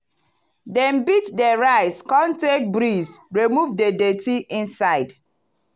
dem beat the rice come take breeze remove the dirty inside.